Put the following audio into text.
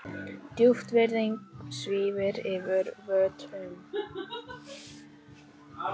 Djúp virðing svífur yfir vötnum.